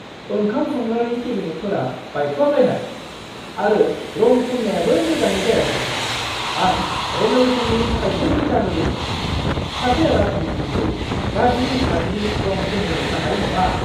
ओंखाम संग्रानि केबिनेटफोरा बायख्लाबलायनाय, आरो रं फुन्नायाबो मोजाङै जायाखै। आं रेन'वेशननि थाखायसो फैसा होदोंमोन, सासे राजमिस्त्रीखौ गाज्रि-फाज्रि रं फुनहोनो थाखाय नङा!